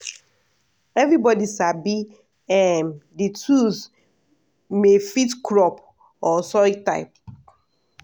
everybody sabi um the tools may fit crop or soil type.